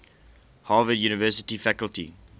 harvard university faculty